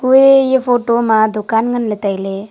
kuye ye photo ma dukan ngan le taile.